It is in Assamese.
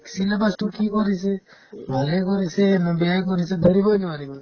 syllabus তো কি কৰিছে ভালে কৰিছে নে বেয়াই কৰিছে ধৰিবই নোৱাৰি মানে